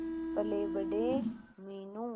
पलेबड़े Meenu